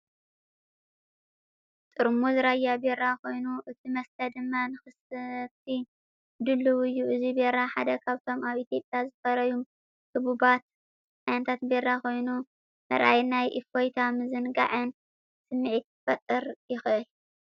ጥርሙዝ ራያ ቢራ ኮይኑ፡ እቲ መስተ ድማ ንኽሰቲ ድሉው እዩ። እዚ ቢራ ሓደ ካብቶም ኣብ ኢትዮጵያ ዝፈረዩ ህቡባት ዓይነታት ቢራ ኮይኑ፡ ምርኣይ ናይ እፎይታን ምዝንጋዕን ስምዒት ክፈጥር ይኽእል።